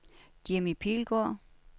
Jimmi Pilgaard